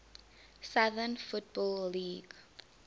southern football league